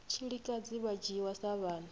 tshilikadzi vha dzhiwa sa vhana